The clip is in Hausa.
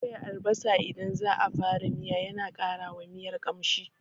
Soya albasa idan za a fara miya yana ƙara wa miya ƙamshi.